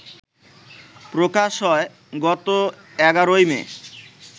প্রকাশ হয় গত এগারোই মে